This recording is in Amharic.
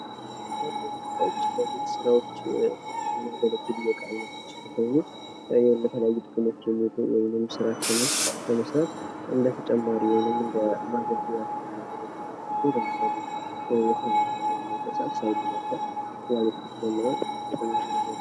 የቤት ዕቃዎች ለመኖርያ ቤቶች ምቾትና ተግባራዊነት የሚውሉ እንደ ሶፋ፣ አልጋና ጠረጴዛ ያሉ ቁሳቁሶች ሲሆኑ የቢሮ ዕቃዎች ለሥራ ምቹ ሁኔታ ይፈጥራሉ።